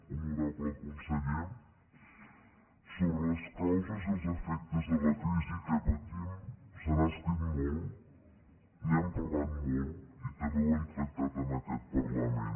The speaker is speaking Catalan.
honorable conseller sobre les causes i els efectes de la crisi que patim se n’ha escrit molt n’hem parlat molt i també ho hem tractat en aquest parlament